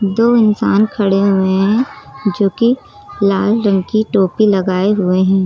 दो इंसान खड़े हुए है जोकि लाल रंग की टोपी लगाए हुए हैं।